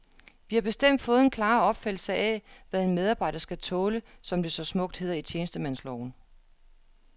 Vi har bestemt fået en klarere opfattelse af, hvad en medarbejder skal tåle, som det så smukt hedder i tjenestemandsloven.